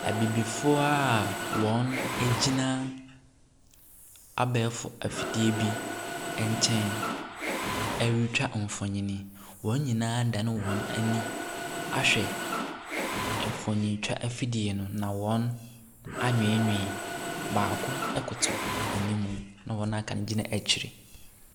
Abibifoɔ a wɔgyina abɛɛfo afidie bi nkyɛn retwa mfonin. Wɔn nyinaa adane wɔn ani ahwɛ mfonintwa afidie no, na wɔn anweenwee, baako koto anim na wɔn a wɔaka no gyina akyire.